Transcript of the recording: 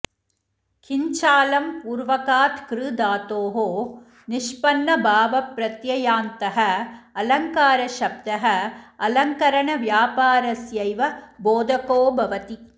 किञ्चालं पूर्वकात् कृ धातोः निष्पन्नभावप्रत्ययान्तः अलङ्कारशब्दः अलङ्करणव्यापारस्यैव बोधको भवति